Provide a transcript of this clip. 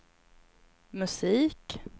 musik